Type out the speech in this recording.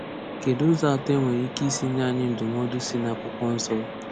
Kedụ ụzọ atọ e nwere ike isi nye anyị ndụmọdụ si n’Akwụkwọ Nsọ?